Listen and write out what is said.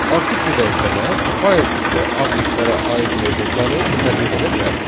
Artıq bu dəyişənə fayl tipli obyektlərə aid metodları tətbiq edə bilərik.